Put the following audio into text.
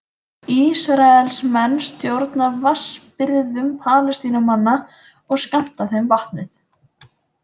Ísraelsmenn stjórna vatnsbirgðum Palestínumanna og skammta þeim vatnið.